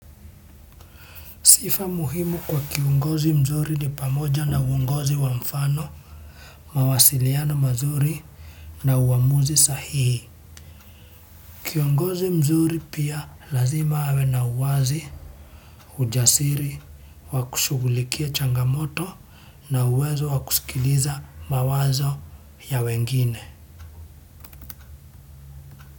Sifa muhimu kwa kiongozi mzuri ni pamoja na uongozi wa mfano, mawasiliano mazuri na uamuzi sahihi. Kiongozi mzuri pia lazima awe na uwazi, ujasiri, wa kushughulikia changamoto na uwezo wa kusikiliza mawazo ya wengine.